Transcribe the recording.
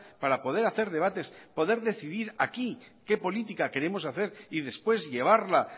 para poder hacer debates poder decidir aquí qué política queremos hacer y después llevarla